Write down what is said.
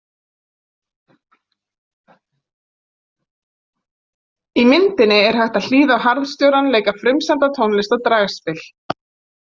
Í myndinni er hægt að hlýða á harðstjórann leika frumsamda tónlist á dragspil.